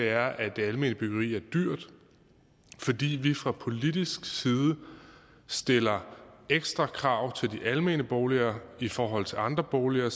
er at det almene byggeri er dyrt fordi vi fra politisk side stiller ekstra krav til de almene boliger i forhold til andre boliger er